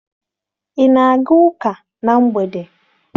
Ị na-aga ụka na mgbede?